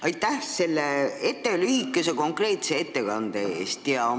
Aitäh selle lühikese ja konkreetse ettekande eest!